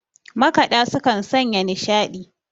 makaɗa sukan Sanya nishaɗi